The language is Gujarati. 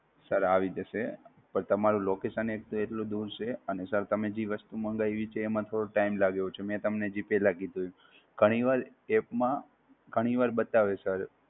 Sir આવી જશે! પણ તમારું Location એક તો એટલું દૂર છે, અને Sir તમે જે વસ્તુ માંગય્વી છે એમાં થોડો Sir લાગ્યો છે, મે તમને જે પેલ્લા કીધું, ઘણીવાર App માં ઘણીવાર બતાવે Sir